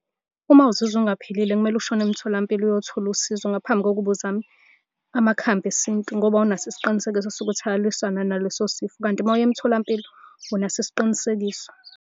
Uma uzizwa ungaphilile kumele ushone emtholampilo uyothola usizo, ngaphambi kokuba uzame amakhambi esintu ngoba awunaso isiqinisekiso sokuthi ayalwisanani naleso sifo, kanti uma uya emtholampilo unaso isiqinisekiso.